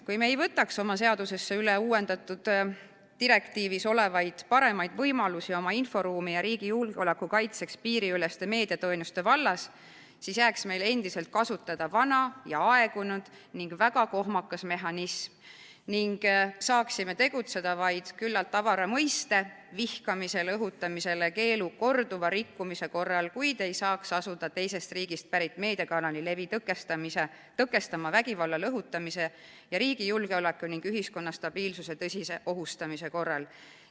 Kui me ei võtaks oma seadusesse üle uuendatud direktiivis olevaid paremaid võimalusi oma inforuumi ja riigi julgeoleku kaitseks piiriüleste meediateenuste vallas, siis jääks meil endiselt kasutada vana, aegunud ja väga kohmakas mehhanism ning saaksime tegutseda vaid suhteliselt avara tähendusega "vihkamisele õhutamise keelu" korduva rikkumise korral, kuid ei saaks asuda teisest riigist pärit meediakanali levi tõkestama vägivallale õhutamise ning riigi julgeoleku ja ühiskonna stabiilsuse tõsise ohustamise korral.